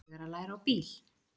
Ég er að læra á bíl.